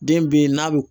Den be yen n'a bi